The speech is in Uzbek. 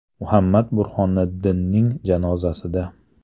Muhammad Burhoniddinning janozasida.